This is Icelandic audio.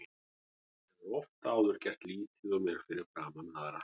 Hann hefur oft áður gert lítið úr mér fyrir framan aðra.